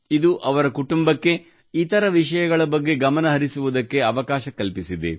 ಇದು ಅವರ ಕುಟುಂಬಕ್ಕೆ ಇತರ ವಿಷಯಗಳ ಬಗ್ಗೆ ಗಮನ ಹರಿಸುವುದಕ್ಕೆ ಅವಕಾಶ ಕಲ್ಪಿಸಿದೆ